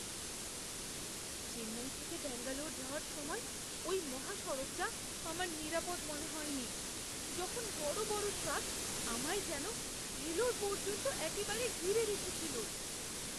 চেন্নাই থেকে ব্যাঙ্গালোর যাওয়ার সময় ওই মহাসড়কটা আমার নিরাপদ মনে হয়নি, যখন বড় বড় ট্রাক আমায় যেন ভেলোর পর্যন্ত একেবারে ঘিরে রেখেছিল।